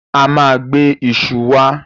A ma gbe iṣu wá